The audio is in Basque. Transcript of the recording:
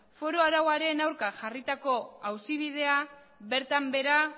foru arauaren aurka jarritako auzi bidea bertan behera